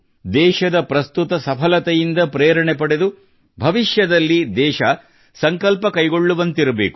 ದೇಶದ ಪ್ರಸ್ತುತ ಸಫಲತೆಯಿಂದ ಪ್ರೇರಣೆ ಪಡೆದು ಭವಿಷ್ಯದಲ್ಲಿ ದೇಶ ಸಂಕಲ್ಪ ಕೈಗೊಳ್ಳುವಂತಿರಬೇಕು